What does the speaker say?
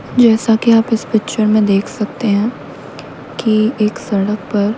जैसा कि आप इस पिक्चर में देख सकते हैं कि एक सड़क पर--